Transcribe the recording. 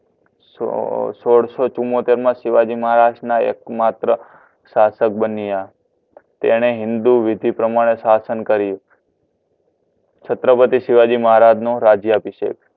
સોડ સોડસો ચુંમોતેર મા શિવજીમહારાજ ના એકમાત્ર સાસક બન્યા તેણે હિન્દુ વિધિ પ્રમાણે શાસન કર્યું છત્રપતિ શિવાજી મહારાજ નું રાજ્ય અભિષેક